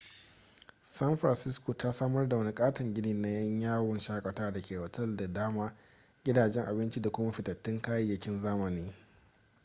san francisco ta samar da wani katon gini na 'yan yawon shakatawa da ke da otal da dama gidajen abinci da kuma fitattun kayayyakin zamani